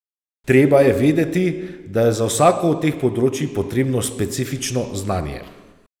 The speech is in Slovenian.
Treba je vedeti, da je za vsako od teh področij potrebno specifično znanje.